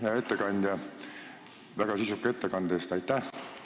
Hea ettekandja, aitäh väga sisuka ettekande eest!